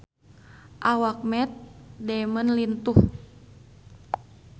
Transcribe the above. Awak Matt Damon lintuh